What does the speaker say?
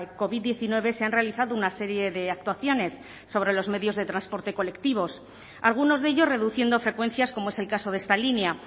covid diecinueve se han realizado una serie de actuaciones sobre los medios de transporte colectivos algunos de ellos reduciendo frecuencias como es el caso de esta línea